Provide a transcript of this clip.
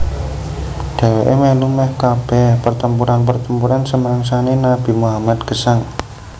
Dheweke melu meh kabeh pertempuran pertempuran semangsane Nabi Muhammad gesang